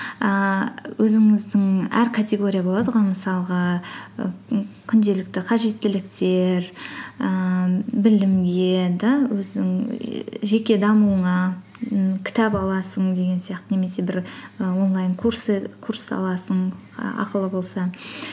ііі өзіңіздің әр категория болады ғой мысалға күнделікті қажеттіліктер ііі білімге де өзің жеке дамуыңа і кітап аласың деген сияқты немесе бір і онлайн курс аласың ақылы болса